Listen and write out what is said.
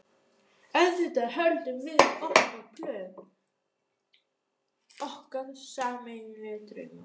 auðvitað höldum við í okkar plön, okkar sameiginlegu drauma.